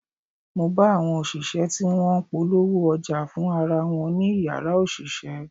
Mo bá àwọn òṣìṣẹ́ tí wọ́n ń polówó ọjà fún ara wọn ní Ìyàrá òṣìṣẹ́.